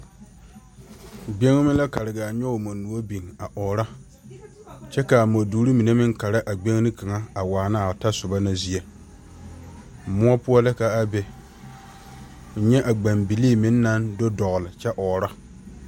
Gbeŋme la kare gaa nyoge mɔnyuoɔ biŋ a ɔɔrɔ kyɛ kaa mɔdorre mine meŋ Kara a gbeŋne kaŋa a waanaa o tɔ soba na zie moɔ poɔ la ka a be nyɛ gbeŋbilii mine meŋ naŋ do dɔgle kyɛ ɔɔrɔ.